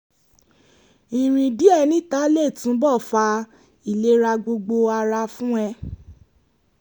ìrìn díẹ̀ níta lè túnbọ̀ fa ìlera gbogbo ara fún ẹ